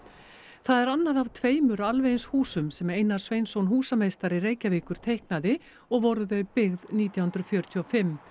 það er annað af tveimur alveg eins húsum sem Einar Sveinsson húsameistari Reykjavíkur teiknaði og voru þau byggð nítján hundruð fjörutíu og fimm